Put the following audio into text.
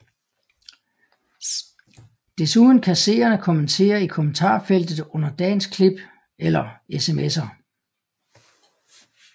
Desuden kan seerne kommentere i kommentarfeltet under dagens klip eller smser